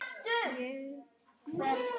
Ég hverf.